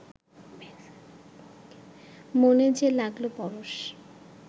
মনে যে লাগল পরশ